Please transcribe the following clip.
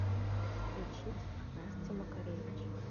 включить настя макаревич